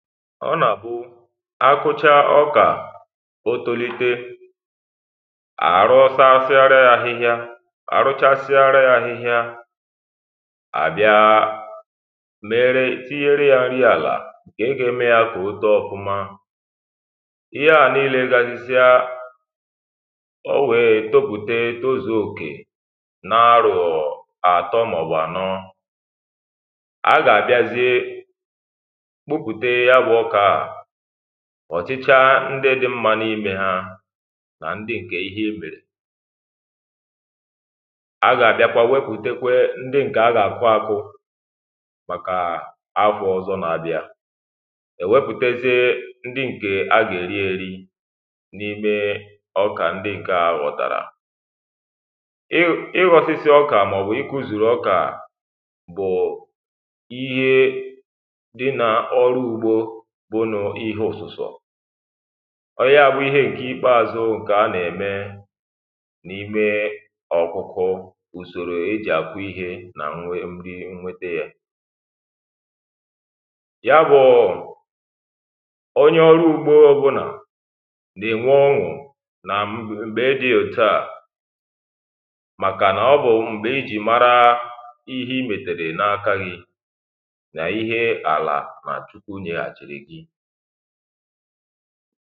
ọ na àhụcha ọkà otȯlite àrụsasịa ahihia arụsasịa ahihia àbịa mere tinyere ya nri àlà ǹkè gà eme ya kà oto ọkụma ya níílė gazisia o nwèè topùte tozù òkè na arụ̀ọ àtọ màọ̀bụ̀ ànọ a gà àbịazie ọ̀chịchaa ndị dị mmȧ n’imė ha nà ndị ǹkè ihe imèrè a gà-àbịakwa wepùtekwe ndị ǹkè a gà-àkwa akwụ màkà akwụ̀ ọ̀zọ nà-àbịa è wepùtėzịe ndị ǹkè a gà-èri èri n’ime ọkà ndị ǹke a gòtàrà ịghọ̀sịsị ọkà màọbụ̀ ịkụ̇zùrù ọkà bụ̀ ihe kpọnụ ihe ọ̀sụ̀sọ̀ ọ yagbụ ihe ǹke ikpeazụ ǹkè a nà-eme n’imė ọkụkọ ùsòrò e jì àkwụ ihė nà m nwe nwete yȧ ya bụ̀ onye ọrụ ugbȯ bụnà dị nwa ọṅụ̀ nà m̀gbè e jì òtu à màkà nà ọ bụ m̀gbè i jì mara ihe imètèrè n’akȧghị̀ nà ihe àlà enyi̇